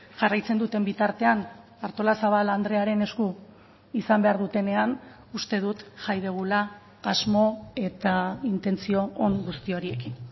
jarraitzen duten bitartean artolazabal andrearen esku izan behar dutenean uste dut jai dugula asmo eta intentzio on guzti horiekin